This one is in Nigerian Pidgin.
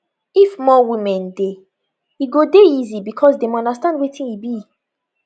if more women dey e go dey easy because dem understand wetin e be